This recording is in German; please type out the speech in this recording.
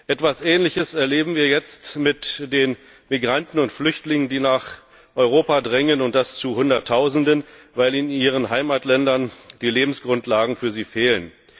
Etwas Ähnliches erleben wir jetzt mit den Migranten und Flüchtlingen, die nach Europa drängen, und das zu Hunderttausenden, weil in ihren Heimatländern die Lebensgrundlagen für sie fehlen.